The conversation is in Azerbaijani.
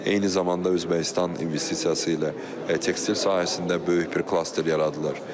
Eyni zamanda Özbəkistan investisiyası ilə tekstil sahəsində böyük bir klaster yaradılır.